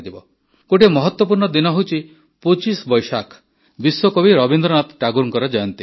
ଗୋଟିଏ ମହତ୍ୱପୂର୍ଣ୍ଣ ଦିନ ହେଉଛି ପୋଚିଶ ବୈଶାଖ୍ ବିଶ୍ୱକବି ରବୀନ୍ଦ୍ରନାଥ ଟାଗୋରଙ୍କ ଜୟନ୍ତୀ